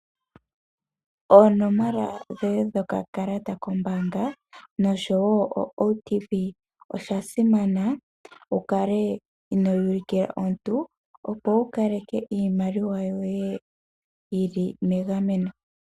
Oonomola dhoye dhokakalata kombaanga noshowo oOTP osha simana wu kale inoyi ulukila omuntu, opo wu kale ke iimaliwa yoye yi li megameno.